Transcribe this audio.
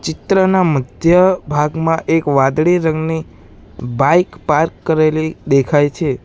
ચિત્રના મધ્યભાગમાં એક વાદળી રંગની બાઈક પાર્ક કરેલી દેખાય છે.